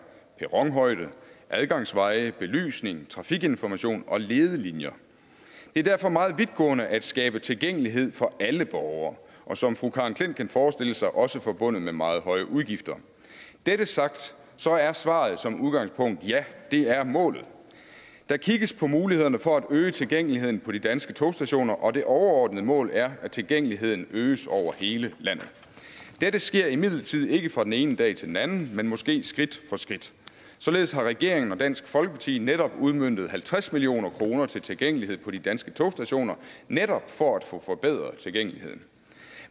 perronhøjde adgangsveje belysning trafikinformation og ledelinjer det er derfor meget vidtgående at skabe tilgængelighed for alle borgere og som fru karen j klint kan forestille sig også forbundet med meget høje udgifter dette sagt så er svaret som udgangspunkt ja det er målet der kigges på mulighederne for at øge tilgængeligheden på de danske togstationer og det overordnede mål er at tilgængeligheden øges over hele landet dette sker imidlertid ikke fra den ene dag til den anden men måske skridt for skridt således har regeringen og dansk folkeparti netop udmøntet halvtreds million kroner til tilgængelighed på de danske togstationer netop for at få forbedret tilgængeligheden